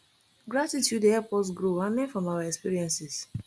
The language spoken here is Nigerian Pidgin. gratitude dey help us grow and learn from our experiences